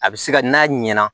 A bɛ se ka n'a ɲɛna